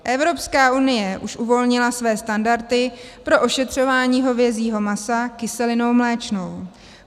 Evropská unie už uvolnila své standardy pro ošetřování hovězího masa kyselinou mléčnou.